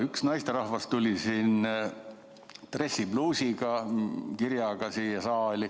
Üks naisterahvas tuli siia saali kirjaga dressipluusiga.